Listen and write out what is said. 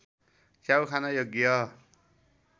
च्याउ खान योग्य